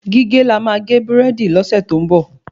Gígé la má gé burẹdi lọ́sẹ̀ tó ń bọ